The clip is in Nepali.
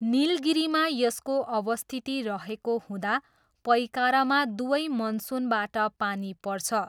निलगिरीमा यसको अवस्थिति रहेको हुँदा पइकारामा दुवै मनसुनबाट पानी पर्छ।